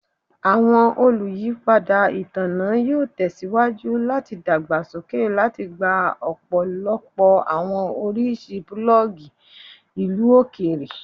Awọn oluyipada itanna yoo tẹsiwaju lati dagbasoke lati gba ọpọlọpọ awọn oriṣi plug ilu okeere